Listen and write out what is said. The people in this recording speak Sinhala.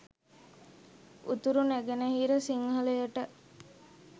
උතුර නැගෙන හිර සිංහලයට